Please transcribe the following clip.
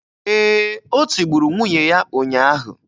Ee, o tigburu nwunye ya ụnyaahụ